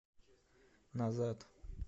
назад